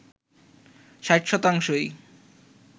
৬০ শতাংশই